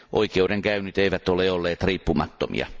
Oikeudenkäynnit eivät ole olleet riippumattomia.